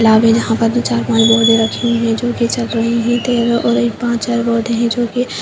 lab है जहाँ पर दो चार पांच बॉडी रखी हुई है जोकि सड़ रही है और एक पांच चार है जोकि --